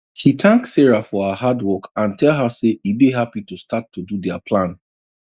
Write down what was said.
he thank sarah for her hard work and tell her say e dey happy to start to do their plan